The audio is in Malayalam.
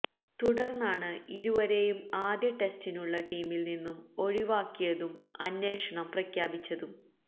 തുടര്ന്നാണ് ഇരുവരെയും ആദ്യ ടെസ്റ്റിനുള്ള ടീമില് നിന്നും ഒഴിവാക്കിയതും അന്വേഷണം പ്രഖ്യാപിച്ചതും